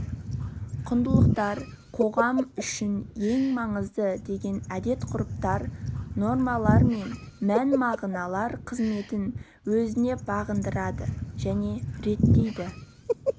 құндылықтар қоғам үшін ең маңызды деген әдет-ғұрыптар нормалар мен мән-мағыналар қызметін өзіне бағындырады және реттейді